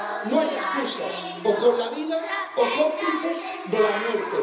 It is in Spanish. No hay excusas o con la vida, o cómplices de la muerte.